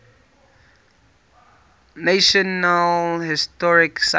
national historic site